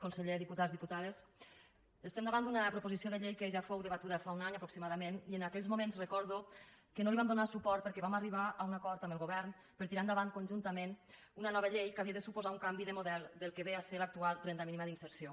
conseller diputats diputades estem davant d’una proposició de llei que ja fou debatuda fa un any aproximadament i en aquells moments recordo que no hi vam donar suport perquè vam arribar a un acord amb el govern per tirar endavant conjuntament una nova llei que havia de suposar un canvi de model del que ve a ser l’actual renda mínima d’inserció